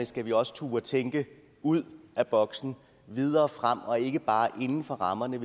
skal vi også turde tænke ud af boksen videre frem og ikke bare inden for rammerne